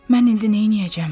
Mən indi neyləyəcəm?